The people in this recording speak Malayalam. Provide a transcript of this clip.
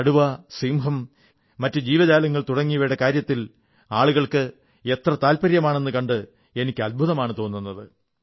കടുവ സിംഹം മറ്റു ജീവജാലങ്ങൾ തുടങ്ങിയവയുടെ കാര്യത്തിൽ ആളുകൾക്ക് എത്ര താത്പര്യമാണെന്നു കണ്ട് എനിക്ക് അദ്ഭുതമാണു തോന്നുന്നത്